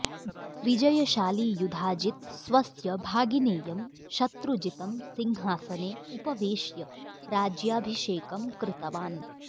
विजयशाली युधाजित् स्वस्य भागिनेयं शत्रुजितं सिंहासने उपवेश्य राज्याभिषेकं कृतवान्